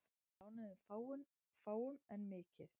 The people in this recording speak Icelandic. Lánuðu fáum en mikið